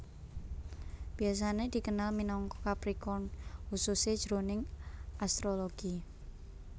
Biasané dikenal minangka Capricorn khususé jroning astrologi